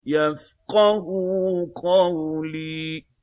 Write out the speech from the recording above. يَفْقَهُوا قَوْلِي